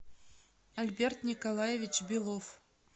альберт николаевич белов